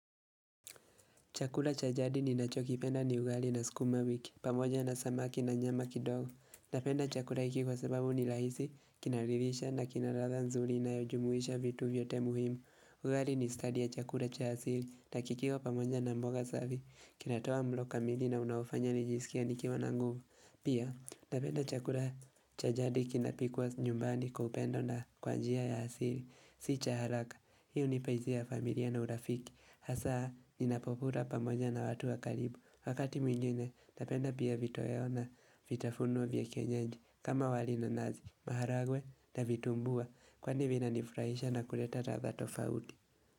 Chakula cha jadi ninachokipenda ni ugali na sukuma wiki, pamoja na samaki na nyama kidogo. Napenda chakula hiki kwa sababu ni rahisi, kinaridhisha na kina ladha nzuri inayojumuisha vitu vyote muhimu. Ugali ni stadi ya chakula cha asili na kikiwa pamoja na mboga safi, kinatoa mlo kamili na unaofanya nijisikie nikiwa na nguvu. Pia, napenda chakula cha jadi kinapikwa nyumbani kwa upendo na kwa njia ya asili. Si cha haraka, hii hunipa hisia ya familia na urafiki, hasa ninapokula pamoja na watu wa karibu. Wakati mwingine, napenda pia vitoweo na vitafuno vya kienyeji kama wali na nazi, maharagwe na vitumbua, kwani vinanifurahisha na kuleta ladha tofauti.